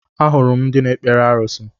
Ahụrụ m ndị na-ekpere arusi